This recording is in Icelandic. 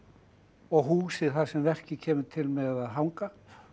og húsið þar sem verkið kemur til með að hanga